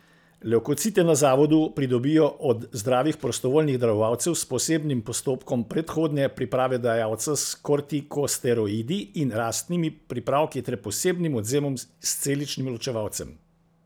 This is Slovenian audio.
Levkocite na zavodu pridobijo od zdravih prostovoljnih darovalcev s posebnim postopkom predhodne priprave dajalca s kortikosteroidi in rastnimi pripravki ter posebnim odvzemom s celičnim ločevalcem.